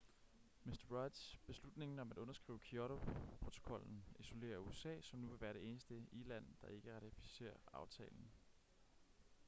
mr rudds beslutning om at underskrive kyoto-protokollen isolerer usa som nu vil være det eneste i-land der ikke ratificerer aftalen